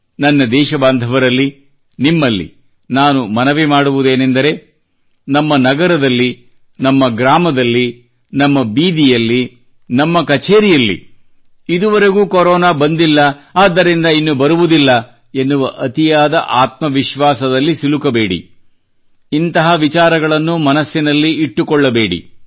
ನನ್ನ ದೇಶ ಬಾಂಧವರಲ್ಲಿ ನಿಮ್ಮಲ್ಲಿ ನಾನು ಮನವಿ ಮಾಡುವುದೇನೆಂದರೆ ನಮ್ಮ ನಗರದಲ್ಲಿ ನಮ್ಮ ಗ್ರಾಮದಲ್ಲಿ ನಮ್ಮ ಬೀದಿಯಲ್ಲಿ ನಮ್ಮ ಕಚೇರಿಯಲ್ಲಿ ಇದುವರೆಗೂ ಕೊರೊನಾ ಬಂದಿಲ್ಲ ಆದ್ದರಿಂದ ಇನ್ನು ಬರುವುದಿಲ್ಲ ಎನ್ನುವ ಅತಿಯಾದ ಆತ್ಮವಿಶ್ವಾಸದಲ್ಲಿ ಸಿಲುಕಬೇಡಿ ಇಂತಹ ವಿಚಾರಗಳನ್ನು ಮನದಲ್ಲಿ ಇಟ್ಟುಕೊಳ್ಳಬೇಡಿ